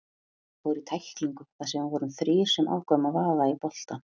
Ég fór í tæklingu þar sem við vorum þrír sem ákváðum að vaða í boltann.